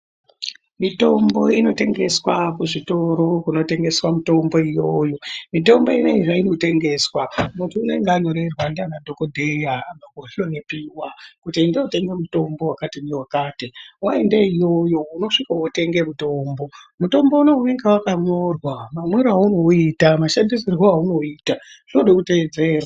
Mitombo inotengeswa kuzvitoro kunotengeswa mitombo iyoyo, mutombo inoyi zvainotengeswa muntu unenge anyorerwa ndiana dhokodheya ahloyiwa kuti enda wotenga mitombo wakadini wakati. Waende iyoyo unosvika wotenge mitombo. Mutombo unowu unenge wakanyorwa mamwiro awunoita, mashandisiro awunowuita zvinoda kutedzerwa.